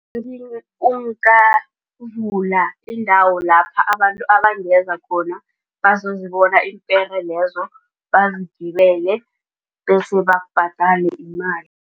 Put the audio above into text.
vula iindawo lapha abantu abangeza khona bazozibona iimpere lezo bazigibele bese bakubhadale imali.